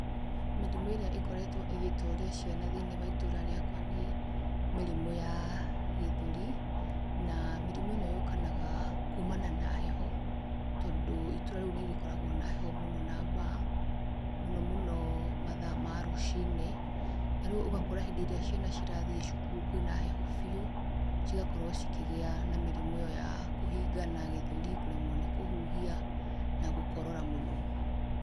Mĩrimũ ĩrĩa ĩkoretwo ĩgĩtoria ciana thĩiniĩ wa itũra rĩakwa nĩ mĩrimũ ya gĩthũri, na mĩrimũ ĩ no yũkanaga na kumana na heho, tondũ itũra rĩu nĩrĩkoragwo na heho mũno na mbaa, mũnomũno mathaa ma rũcinĩ, na rĩu ũgakora hĩndĩ ĩrĩa ciana cirathiĩ cukuru kwĩ na heho biũ, cigakorwo cikĩgĩa na mĩrimũ ĩ yo ya kũhingana gĩthũri, kũremwo nĩ kũhũhia na gũkorora mũno.